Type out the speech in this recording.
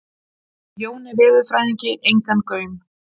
Jóni veðurfræðingi engan gaum.